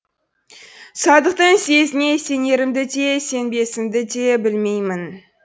садықтың сезіне сенерімді де сенбесімді де білмеймін